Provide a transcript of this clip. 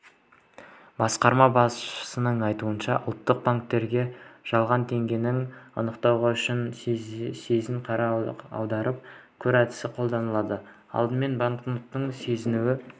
басқарма басшысының айтуынша ұлттық банкте жалған теңгені анықтау үшін сезін-қара-аударып көр әдісі қолданылады алдымен банкнотты сезіну